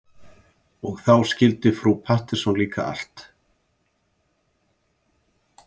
Og þá skildi frú Pettersson líka allt.